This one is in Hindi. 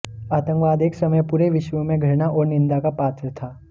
आतंकवाद एक समय पूरे विश्व में घृणा और निंदा का पात्र था